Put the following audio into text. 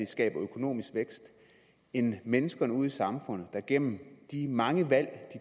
skaber økonomisk vækst end mennesker ude i samfundet der gennem de mange valg de